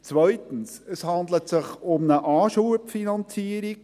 Zweitens: Es handelt sich um eine Anschubfinanzierung.